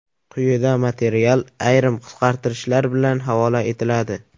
Quyida material ayrim qisqartirishlar bilan havola etiladi .